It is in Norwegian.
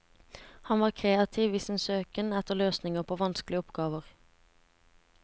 Han var kreativ i sin søken etter løsninger på vanskelige oppgaver.